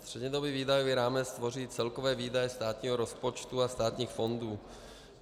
Střednědobý výdajový rámec tvoří celkové výdaje státního rozpočtu a státních fondů.